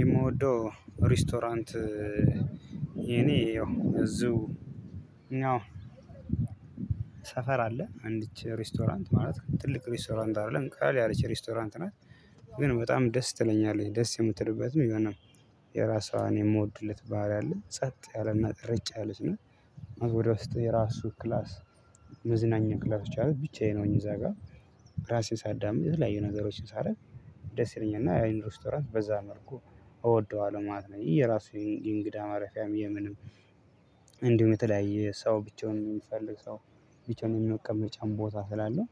የምወደው ሬስቶራንት የኔ ያው እዚሁ ሰፈር አለ። አንዲች ሬስቶራንት ማለት ትልቅ ሬስቶራንት አይደለም ቃል ያለች ሬስቶራንት ናት። ግን በጣም ደስ ትለኛለች ደስ የምትልበትም ይኸ ነው። የራሷን የምወድለት ባህሪ አለ ጸጥ ያለና ረጫ ያለች ነው። ወደ ውስጥ የራሱ ክላስ መዝናኛ ክላሶች አሉ። ብቻዬን ሆኘ እዛ ጋ ራሴን ሳዳምጥ የተለያዩ ነገሮችን ሳረግ ደስ ይለኛል። እና አይኑ ሬስቶራንት በዛ መርኩ እወደዋለሁ ማለት ነው። ይህ የራሱ የእንግዳ ማረፊያም የምንም እንዲሁ በተለያየ ሰው ብቻውን የሚፈልግ ሰው ብቻውን የሚያቀምጥ ቦታ ስላለው